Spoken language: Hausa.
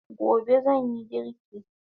Gobe zanyi girki